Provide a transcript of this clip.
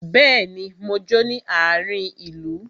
Bẹẹni, mo jó ní àárin ìlú.